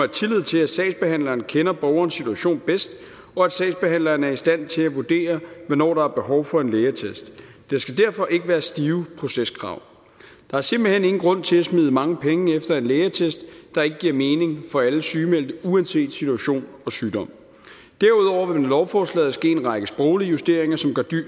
tillid til at sagsbehandleren kender borgerens situation bedst og at sagsbehandleren er i stand til at vurdere hvornår der er behov for en lægeattest der skal derfor ikke være stive proceskrav der er simpelt hen ingen grund til at smide mange penge efter en lægeattest der ikke giver mening for alle sygemeldte uanset situation og sygdom derudover vil der med lovforslaget ske en række sproglige justeringer som gør